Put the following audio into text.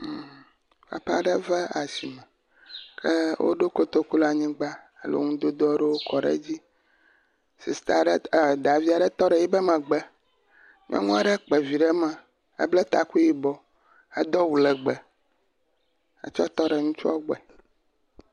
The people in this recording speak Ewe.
Mmm, papa aɖe va asime, ke woɖo kotoku le anyigba lɔ ŋudodo aɖewo kɔ ɖe dzi. Sista aɖe, davi aɖe tɔ ɖe eƒe megbe, nyɔnua ɖe kpa vi ɖe eme ebla taku yibɔ, edo awu legbɛ hetsɔ tɔ ɖe ŋutsua gbɔe.